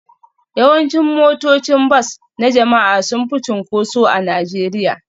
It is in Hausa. Yawancin motocin bas na jama'a sun fi cunkoso a Najeriya